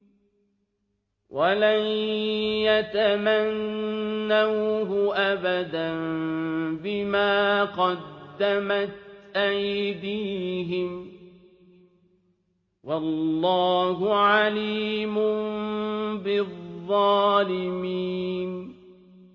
وَلَن يَتَمَنَّوْهُ أَبَدًا بِمَا قَدَّمَتْ أَيْدِيهِمْ ۗ وَاللَّهُ عَلِيمٌ بِالظَّالِمِينَ